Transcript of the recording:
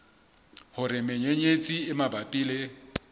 hore menyenyetsi e mabapi le